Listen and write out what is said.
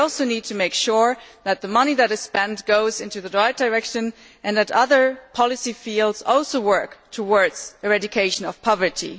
We also need to make sure that the money that is spent goes in the right direction and that other policy fields also work towards the eradication of poverty.